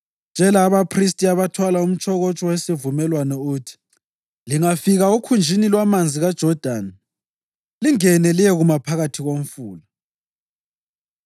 Tshela abaphristi abathwala umtshokotsho wesivumelwano uthi, ‘Lingafika okhunjini lwamanzi kaJodani, lingene liyekuma phakathi komfula.’ ”